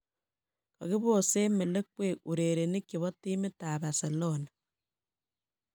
Kogibosen melekwek urerenik chebo timit ab Barcelona.